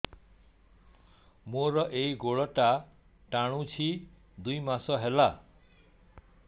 ମୋର ଏଇ ଗୋଡ଼ଟା ଟାଣୁଛି ଦୁଇ ମାସ ହେଲା